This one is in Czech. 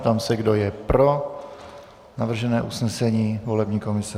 Ptám se, kdo je pro navržené usnesení volební komise.